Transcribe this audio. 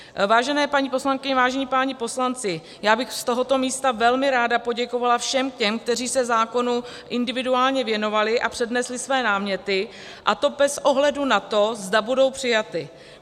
Vážené paní poslankyně, vážení páni poslanci, já bych z tohoto místa velmi ráda poděkovala všem těm, kteří se zákonu individuálně věnovali a přednesli své náměty, a to bez ohledu na to, zda budou přijaty.